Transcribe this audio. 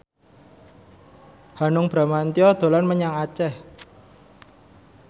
Hanung Bramantyo dolan menyang Aceh